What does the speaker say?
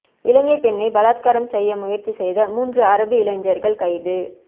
இலங்கைப் பெண்ணை பலாத்காரம் செய்ய முயற்சி செய்த மூன்று அரபு இளைஞர்கள் கைது